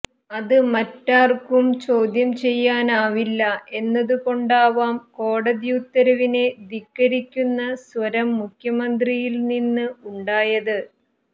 അത് മറ്റാര്ക്കും ചോദ്യം ചെയ്യാനാവില്ല എന്നതുകൊണ്ടാവാം കോടതി ഉത്തരവിനെ ധിക്കരിക്കുന്ന സ്വരം മുഖ്യമന്ത്രിയില്നിന്ന് ഉണ്ടായത്